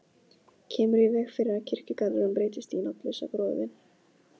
Kemur í veg fyrir að kirkjugarðurinn breytist í nafnlausa gróðurvin.